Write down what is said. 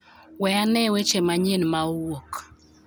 We ane weche manyien ma owuok